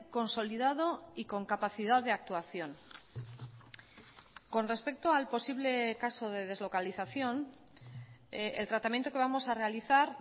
consolidado y con capacidad de actuación con respecto al posible caso de deslocalización el tratamiento que vamos a realizar